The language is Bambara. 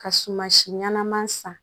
Ka suma si ɲɛnama san